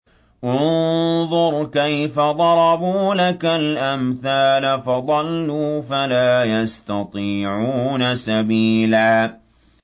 انظُرْ كَيْفَ ضَرَبُوا لَكَ الْأَمْثَالَ فَضَلُّوا فَلَا يَسْتَطِيعُونَ سَبِيلًا